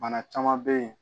Bana caman bɛ yen